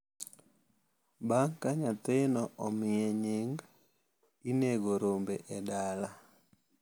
bang’ ka nyathino omiye nying’, inego rombe e dala.